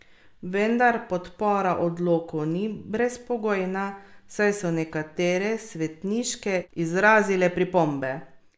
Vendar podpora odloku ni brezpogojna, saj so nekatere svetniške izrazile pripombe.